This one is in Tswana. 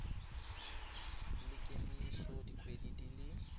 la kemiso dikgwedi di le